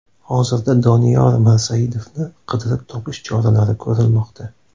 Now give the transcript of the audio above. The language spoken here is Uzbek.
Hozirda Doniyor Mirsaidovni qidirib topish choralari ko‘rilmoqda.